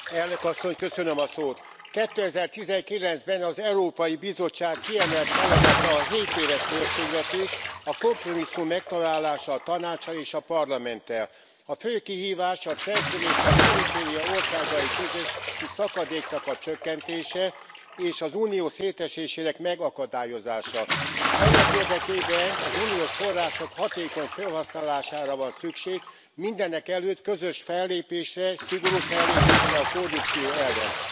Tisztelt Elnök Asszony! 2019 ben az Európai Bizottság kiemelt feladata a hétéves költségvetés, a kompromisszum megtalálása a Tanáccsal és a Parlamenttel. A fő kihívás a centrum és a periféria országai közötti szakadéknak a csökkentése és az Unió szétesésének megakadályozása. Ennek érdekében az uniós források hatékony felhasználására van szükség, mindenek előtt közös fellépésre, szigorú fellépésre a korrupció ellen.